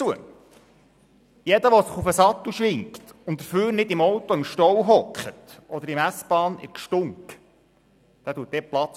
Jeder, der sich auf den Sattel schwingt und dafür nicht im Auto im Stau oder in der S-Bahn im Gedränge sitzt, schafft dort Platz.